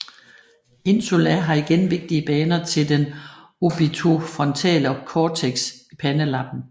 Insula har igen vigtige baner til den orbitofrontale cortex i pandelappen